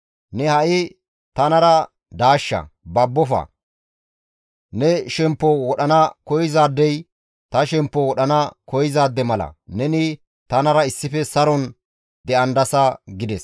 Ne ha7i tanara daashsha; babbofa; ne shemppo wodhana koyzaadey ta shemppo wodhana koyzaade mala; neni tanara issife saron de7andasa» gides.